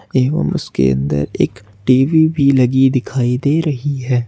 एवं उसके अंदर एक टी_वी भी लगी दिखाई दे रही है।